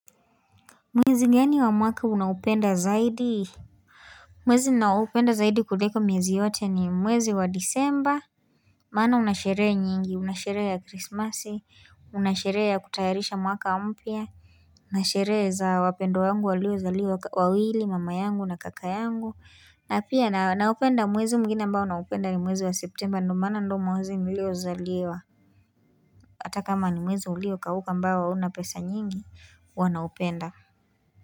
Mwezi gani wa mwaka unaupenda zaidi Mwezi naupenda zaidi kuliko miezi yote ni mwezi wa disemba Maana unasherehe nyingi unasherehe ya christmasi unasherehe ya kutayarisha mwaka mpya Unasherehe za wapendwa wangu walio zaliwa wawili mama yangu na kaka yangu na pia naupenda mwezi mwingine ambao naupenda ni mwezi wa september ndo maana ndo mwezi nilio zaliwa Hata kama ni mwezi ulio kauka ambao hauna pesa nyingi huwa naupenda.